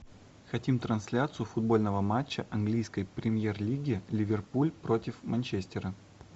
хотим трансляцию футбольного матча английской премьер лиги ливерпуль против манчестера